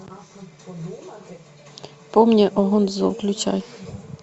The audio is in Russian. помни о гонзо включай